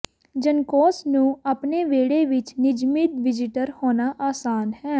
juncos ਨੂੰ ਆਪਣੇ ਵਿਹੜੇ ਵਿਚ ਨਿਯਮਿਤ ਵਿਜ਼ਿਟਰ ਹੋਣਾ ਆਸਾਨ ਹੈ